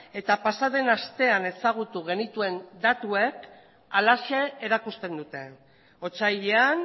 eta pasaden astean ezagutu genituen datuek halaxe erakusten dute otsailean